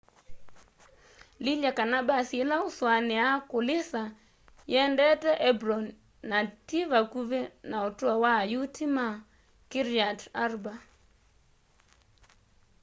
lilya kana mbasi ila uusuania kulisa yiendete hebron na ti vakuvi na utuo wa ayuti ma kiryat arba